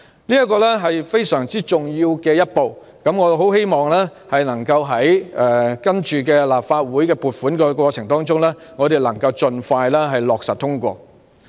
這是非常重要的一步，我很希望在隨後的立法會撥款過程中，能夠盡快通過撥款。